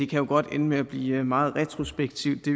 kan jo godt ende med at blive meget retrospektivt det